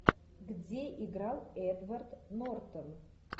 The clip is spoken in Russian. где играл эдвард нортон